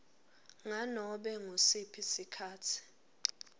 nganobe ngusiphi sikhatsi